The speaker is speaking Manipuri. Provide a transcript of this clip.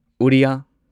ꯑꯣꯗꯤꯌꯥ ꯑꯣꯔꯤꯌꯥ